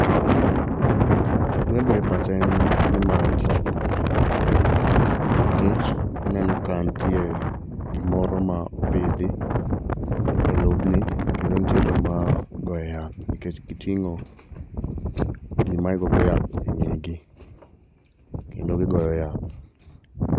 Gimabiro e pacha en ni ma tich pur, nkech aneno ka ntie gimoro ma opidhi e lobni kendo ntie joma goye yath nkech giting'o gima igogo yath e ng'egi kendo gigoyo yath.